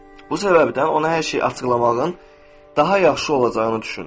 Bu səbəbdən ona hər şeyi açıqlamağın daha yaxşı olacağını düşündüm.